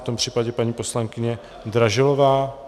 V tom případě paní poslankyně Dražilová.